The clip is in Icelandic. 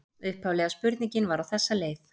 Upphaflega spurningin var á þessa leið: